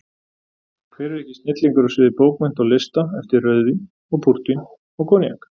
Hver er ekki snillingur á sviði bókmennta og lista eftir rauðvín og púrtvín og koníak?